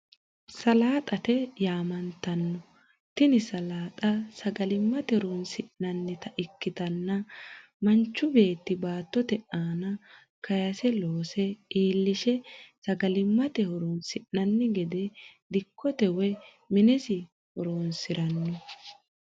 Salaaxate yaamantanno, tini saalaxxa sagalimate horonsinannita ikkitanna manchu beetti baattotte aana kaase loose iillishe sagalimate horonsinanni gede dikote woyi minesi horonsirano